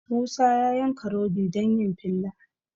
Musa ya yanka rodi don yin filla